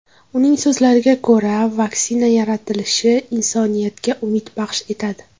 Uning so‘zlariga ko‘ra vaksina yaratilishi insoniyatga umid baxsh etadi.